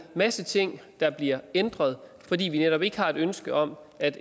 masse ting der bliver ændret fordi vi netop ikke har et ønske om at